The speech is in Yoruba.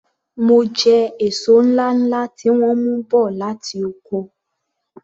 M jẹ èso ńláńlá tí wọ́n mú bọ̀ láti oko.